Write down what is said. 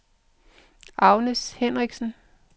Agnes Henriksen